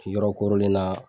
Ti yɔrɔ kɔɔrɔlen na.